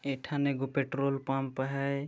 एक ठाने एगो पेट्रोल पंप है।